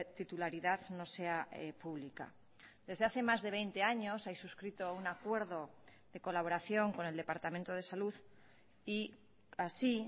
titularidad no sea pública desde hace más de veinte años hay suscrito un acuerdo de colaboración con el departamento de salud y así